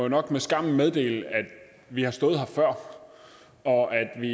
nok med skam meddele at vi har stået her før og at vi